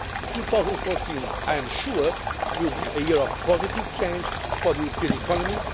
to do so. 2014, I am sure, will be a year of positive change for the European